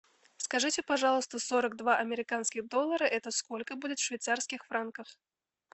скажите пожалуйста сорок два американских доллара это сколько будет в швейцарских франках